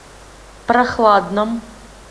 прохладном